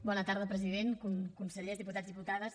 bona tarda president consellers diputats diputades